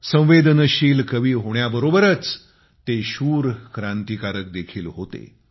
संवेदनशील कवी होण्याबरोबरच ते शूर क्रांतिकारक देखील होते